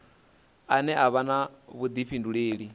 ane a vha na vhudifhinduleli